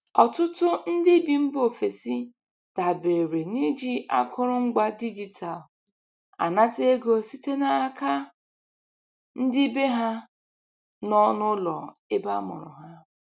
Ọtụtụ ndị bi mba ofesi dabere n'iji akụrụ ngwa digital anata ego site n'aka ndị bee ha nọ n'ụlọ ebe amụrụ ha.